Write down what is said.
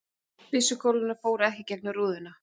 Byssukúlurnar fóru ekki í gegnum rúðurnar